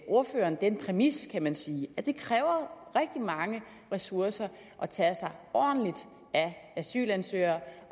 ordføreren den præmis kan man sige at det kræver rigtig mange ressourcer at tage sig ordentligt af asylansøgere